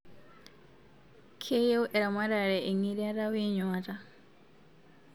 Keyieu eramatare engiriata we nyuata